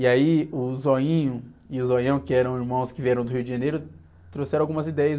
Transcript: E aí o Zoinho e o Zoião, que eram irmãos que vieram do Rio de Janeiro, trouxeram algumas ideias.